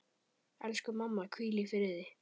Elsku mamma, hvíl í friði.